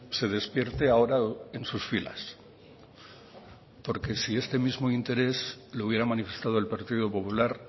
se despierte ahora en sus filas porque si este mismo interés lo hubiera manifestado el partido popular